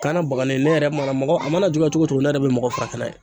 Kanna bagani ne yɛrɛ mana mɔgɔ a mana juguma cogo o cogo ne yɛrɛ be mɔgɔw furakɛ n'a ye